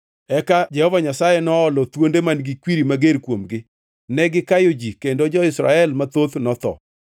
Eka Jehova Nyasaye noolo thuonde man-gi kwiri mager kuomgi; negikayo ji kendo jo-Israel mathoth notho.